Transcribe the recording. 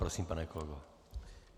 Prosím, pane kolego.